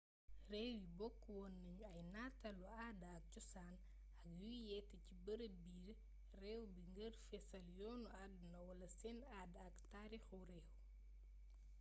réew yi bokk wone nañu ay nataalu aada ak cosaan ak yuy yete ci bërëb biir réew bi ngir fésal yoonu àdduna wala seen aada ak tariixu réew